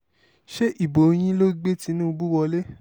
ṣe ibo yín ló gbé tìnúbù wọ̀lẹ̀